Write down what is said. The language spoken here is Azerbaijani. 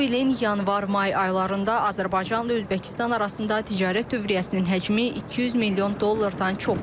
Bu ilin yanvar-may aylarında Azərbaycanla Özbəkistan arasında ticarət dövriyyəsinin həcmi 200 milyon dollardan çox olub.